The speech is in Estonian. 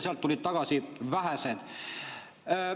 Sealt tulid tagasi vähesed.